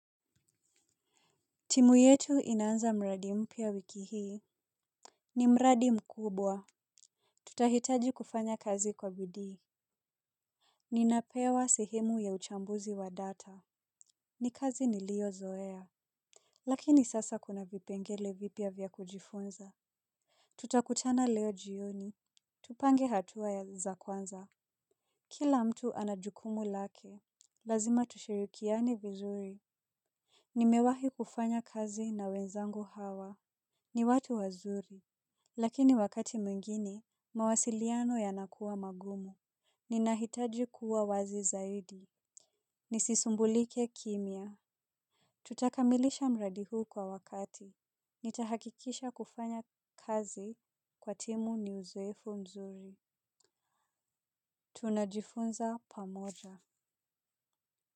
Timu yetu inaanza mradi mpya wiki hii. Ni mradi mkubwa. Tutahitaji kufanya kazi kwa bidii. Ninapewa sehemu ya uchambuzi wa data. Ni kazi niliyo zoea. Lakini sasa kuna vipengele vipya vya kujifunza. Tutakutana leo jioni. Tupange hatua ya za kwanza. Kila mtu anajukumu lake. Lazima tushirikiane vizuri. Nimewahi kufanya kazi na wenzangu hawa. Ni watu wazuri. Lakini wakati mwingine, mawasiliano yanakuwa magumu. Ninahitaji kuwa wazi zaidi. Nisisumbulike kimya. Tutakamilisha mradi huu kwa wakati. Nitahakikisha kufanya kazi kwa timu ni uzouefu mzuri. Tunajifunza pamoja.